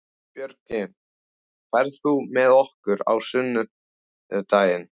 Björgvin, ferð þú með okkur á sunnudaginn?